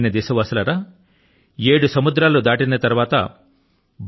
నా ప్రియమైన దేశవాసులారా ఏడు సముద్రాలు దాటిన తరువాత